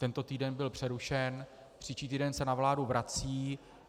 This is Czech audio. Tento týden byl přerušen, příští týden se na vládu vrací.